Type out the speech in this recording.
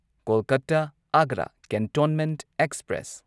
Kolkata Agra cantonment express